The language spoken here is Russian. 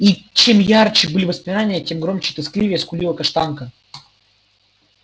и чем ярче были воспоминания тем громче и тоскливее скулила каштанка